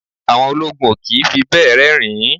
Àwọn ológun o kì í fi bẹ́ẹ̀ rẹ́rìn-ín.